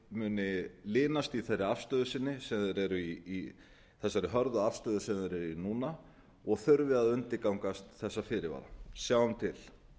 muni linast í þeirri afstöðu sinni þessari hörðu afstöðu sem þeir eru í núna og þurfi að undirgangast þessa fyrirvara sjáum til